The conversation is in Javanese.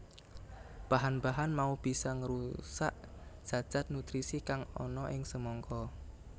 Bahan bahan mau bisa ngrusak zat zat nutrisi kang ana ing semangka